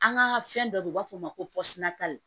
An ka fɛn dɔ be yen u b'a fɔ o ma ko